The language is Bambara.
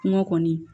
Kɔngɔ kɔni